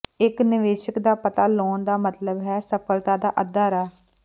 ਇਕ ਨਿਵੇਸ਼ਕ ਦਾ ਪਤਾ ਲਾਉਣ ਦਾ ਮਤਲਬ ਹੈ ਸਫਲਤਾ ਦਾ ਅੱਧਾ ਰਾਹ